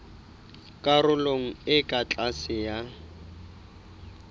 karolong e ka tlase ya